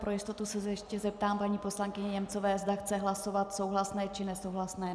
Pro jistotu se ještě zeptám paní poslankyně Němcové, zda chce hlasovat souhlasné, či nesouhlasné.